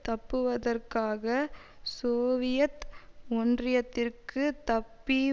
தப்புவதற்காக Soviet ஒன்றியத்திற்கு தப்பி